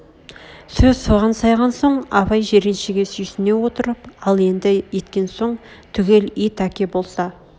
сөз соған сайған соң абай жиреншеге сүйсіне отырып ал енді еткен соң түгел ет әке болса